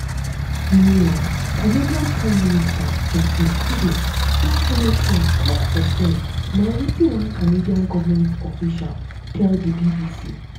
meanwhile canada prime minister um justin trudeau don follow trump tok for um phone na wetin one canadian goment official tell di bbc.